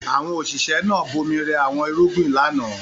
Àwọn òṣìṣẹ́ náà bomi rẹ àwọn irúgbìn lánàá.